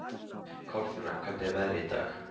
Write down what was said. Kolfinna, hvernig er veðrið í dag?